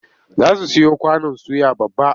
Za su siyo kwanon suya babba.